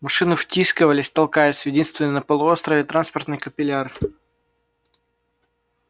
машины втискивались толкаясь в единственный на полуострове транспортный капилляр